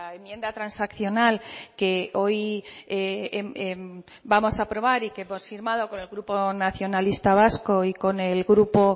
enmienda transaccional que hoy vamos a aprobar y que hemos firmado con el grupo nacionalista vasco y con el grupo